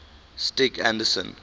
stig anderson